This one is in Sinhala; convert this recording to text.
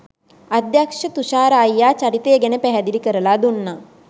අධ්‍යක්ෂ තුෂාර අයියා චරිතය ගැන පැහැදිලි කරලා දුන්නා